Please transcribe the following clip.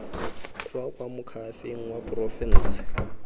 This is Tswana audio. tswa kwa moakhaefeng wa porofense